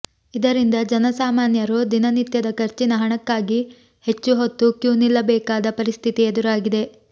ಇದರಿಂದ ಜನಸಾಮಾನ್ಯರು ದಿನನಿತ್ಯದ ಖರ್ಚಿನ ಹಣಕ್ಕಾಗಿ ಹೆಚ್ಚು ಹೊತ್ತು ಕ್ಯೂ ನಿಲ್ಲಬೇಕಾದ ಪರಿಸ್ಥಿತಿ ಎದುರಾಗಿದೆ